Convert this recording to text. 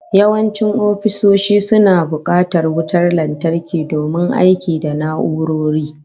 Yawancin ofisoshi suna bukatar wutar lantarki domin aiki da na'urori